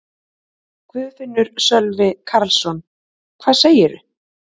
Guðfinnur Sölvi Karlsson: Hvað segirðu?